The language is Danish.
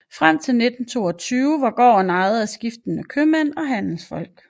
Frem til 1922 var gården ejet af skiftende købmænd og handelsfolk